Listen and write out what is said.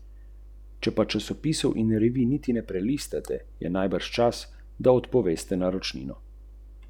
In je odnesel papeško krono.